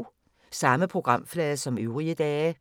Samme programflade som øvrige dage